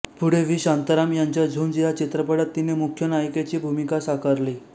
पुढे व्ही शांताराम यांच्या झुंज या चित्रपटात तिने मुख्य नायिकेची भूमिका साकारली